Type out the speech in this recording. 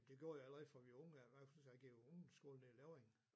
Det gjorde jeg allerede fra vi var unge af i hvert fald da jeg gik i ungeskole nede i Levring